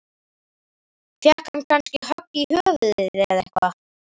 Fékk hann kannski högg í höfuðið eða eitthvað?